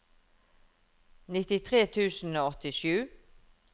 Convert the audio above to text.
nittitre tusen og åttisju